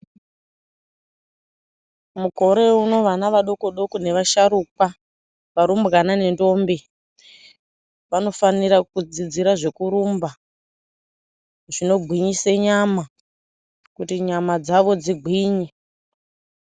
Mukore uno vana vadoko-doko nevasharukwa varumbwana nendombi vanofanira kudzidzira zvekurumba zvinogwinyisa nyama kuti nyama dzavo dzigwinye.